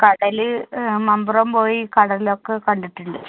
കടല്, മമ്പറം പോയി കടലൊക്കെ കണ്ടിട്ടുണ്ട്.